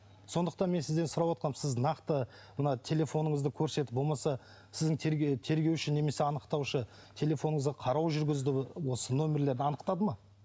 сондықтан мен сізден сұравотқаным сіз нақты мына телефоныңызды көрсетіп болмаса сіздің тергеуші немесе анықтаушы телефоныңызды қарау жүргізді осы нөмірлерді анықтады ма